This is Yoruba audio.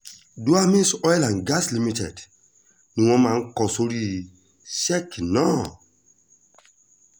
duemies oil and gas limited ni wọ́n máa ń kó sórí sẹ́ẹ̀kì náà